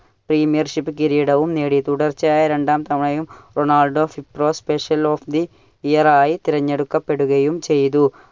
premiere ship കിരീടവും നേടി. തുടർച്ചയായി രണ്ടാം തവണയും Ronaldo special of the year ആയി തിരഞ്ഞെടുക്കപ്പെടുകയും ചെയ്തു.